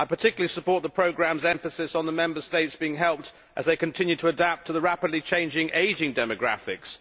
I particularly support the programme's emphasis on the Member States being helped as they continue to adapt to the rapidly changing ageing demographics.